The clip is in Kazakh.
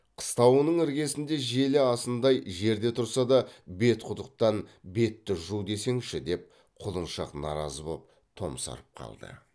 қыстауының іргесінде желі асындай жерде тұрса да бетқұдықтан бетті жу десеңші деп құлыншақ наразы боп томсарып қалды